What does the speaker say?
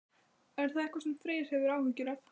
Er það eitthvað sem Freyr hefur áhyggjur af?